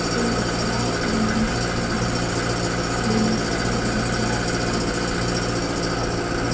అటు లోపల ఒక బిల్డింగ్ కూడా ఉంది బిల్డింగ్ కి ఎల్దానికి ధరి ఐతే ఉంది స్టాట్యూయే పక్కకి--